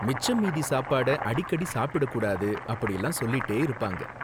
மிச்சம் மீதி சாப்பாட அடிக்கடி சாப்பிடக் கூடாது அப்படில்லாம் சொல்லிட்டே இருப்பாங்க